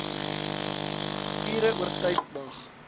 ure oortyd mag